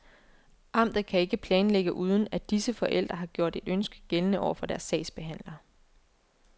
Amtet kan ikke planægge uden, at disse forældre har gjort et ønske gældende over for deres sagsbehandler.